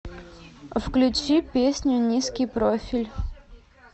включи песню низкий профиль